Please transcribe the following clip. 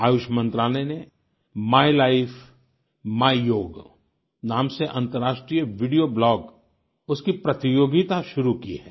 आयुष मंत्रालय ने my life my yoga नाम से अंतर्राष्ट्रीय वीडियो ब्लॉग उसकी प्रतियोगिता शुरू की है